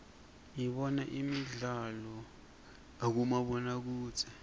dibona imidlalo uibomabonokudze